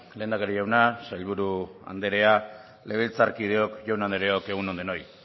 lehendakari jauna sailburu andrea legebiltzarkideok jaun andreok egun on denoi